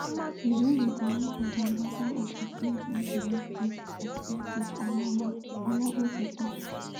we just dey demand for di reversal of di tins wey dey make tins um expensive oga olagokun tok